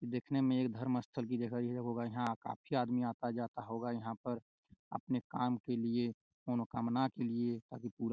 देखने में एक धर्मस्थल भी गए हुए है यहाँ काफी आदमी आता-जाता होगा यहाँ पर आपने काम के लिए मनोकामना के लिए ताकि पुरा--